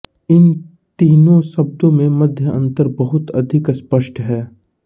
इन तीनों शब्दों में मध्य अंतर बहुत अधिक अस्पष्ट है